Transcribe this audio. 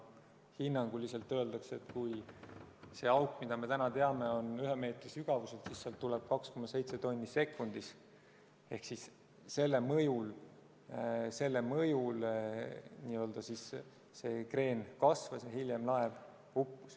Hinnanguliselt öeldakse, et kui see auk, mida me täna teame, on ühe meetri sügavusel, siis sealt tuleb 2,7 tonni sekundis ehk selle mõjul kreen kasvas ja hiljem laev uppus.